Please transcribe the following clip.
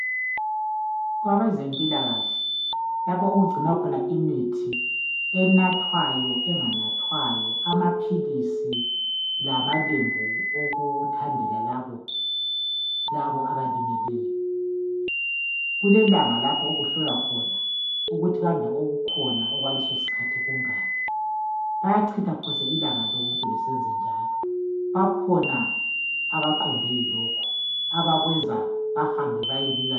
Kwabezempilakahle lapho okugcinwa khona imithi enathwayo enganathwayo, amaphilisi lama lembu okuthandela labo abalimeleyo . Kulelanga lapho okuhlolwa khona ukuthi kambe okukhona okwaleso sikhathi kungaki. Bayachitha phose ilanga lonke besenzenjalo. Bakhona abaqondwe yilokho abakwenza bahambe bayebika.